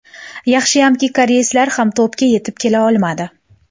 Yaxshi hamki, koreyslar ham to‘pga yetib kela olmadi.